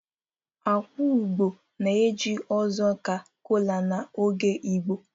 akwa ugbo na-eje ozi ka kola n'oge Igbo